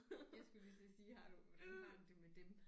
Jeg skulle lige til at sige har du hvordan har du det med dem